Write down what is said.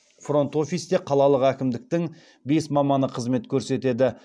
фронт офисте қалалық әкімдіктің бес маманы қызмет көрсетеді